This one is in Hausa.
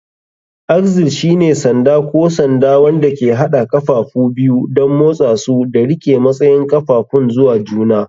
Axle shine sanda ko sanda wanda ke haɗa ƙafafu biyu don motsa su da riƙe matsayin ƙafafun zuwa juna.